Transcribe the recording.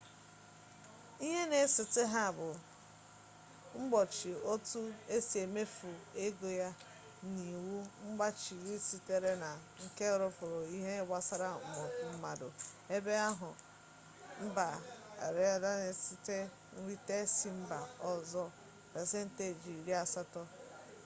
ihe na-esote ha bụ mgbochi otu esi emefu ego ya na iwu mmgbachibido sitere n'aka ọgbakọ nke iroopu n'ihe gbasara mbupu n'obodo mmanụ ebe akụnụba mba aịranụ si enweta ego nrite si mba ọzọ pasenti iri asatọ